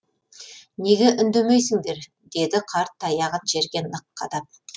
неге үндемейсіңдер деді қарт таяғын жерге нық қадап